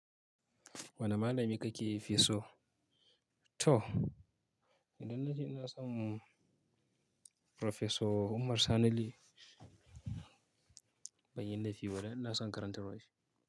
Wane malami kake fiso? To idan na ce ina son Profeso Umar Sani ban yi laifi ba dan ina son karantarwan shi.